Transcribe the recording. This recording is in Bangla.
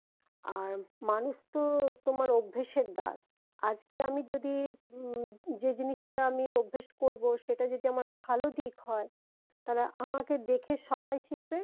আর মানুষতো তোমার অভ্যেসের দাস আজকে আমি যদি যে জিনিসটা আমি অভ্যেস করবো সেটা যদি আমার ভালো দিক হয় তাহলে আমাকে দেখে সবাই শিখবে